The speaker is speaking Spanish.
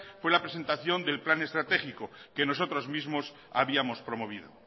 fue la presentación del plan estratégico que nosotros mismos habíamos promovido